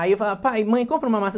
Aí eu falava, pai, mãe, compra uma maçã.